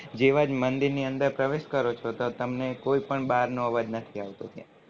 જેવા મંદિર ની અંદર પ્રવેશ કરો છો તો તમને કોઈ પણ બાર નો અવાજ નથી આવતો ત્યાં